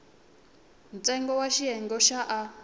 ntsengo wa xiyenge xa a